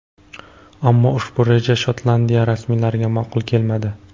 Ammo ushbu reja Shotlandiya rasmiylariga ma’qul kelmadi.